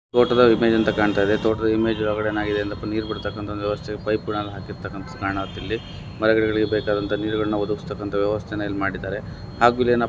ತೋಟದ ಇಮೇಜ್ ಅಂತಾ ಕಾಣ್ತಯಿದೆ. ತೋಟದ ಇಮೇಜ್ ಒಳಗೆ ಏನಾಗಿದೆ ಅಂದ್ರೆ ನೀರ್ ಬಿಡ್ತಕ್ಕಂತ ಒಂದ್ ವ್ಯವಸ್ಥೆ ಪೈಪ್ ಹಾಕಿರ್ತಾಕ್ಕಂತದ್ ಕಾಣ್ತಾ ಇಲ್ಲಿ. ಮರಗಿಡಗಳಿಗೆ ಬೇಕಾದಂತ ನೀರ್ಗಳನ್ನ ಒದಗಿಸ್ತಕ್ಕಂತ ವ್ಯವಸ್ಥೆಯನ್ನ ಇಲ್ ಮಾಡಿದಾರೆ. ಹಾಗೂ ಇಲ್ಲೆನಪ್ಪಾ --